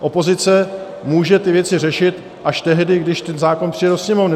Opozice může ty věci řešit až tehdy, když ten zákon přijde to Sněmovny.